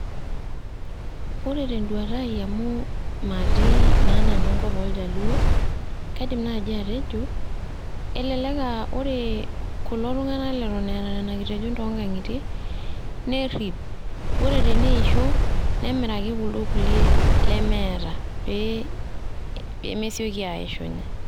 Ore teduata ai amu matii na nanu enkop oljaluo, kaidim nai atejo, elelek a ore kulo tung'anak leton letaa nena kitejon tonkang'itie, nerrip. Ore teneisho, nemiraki kuldo kulie lemeeta pemesioki aishunye.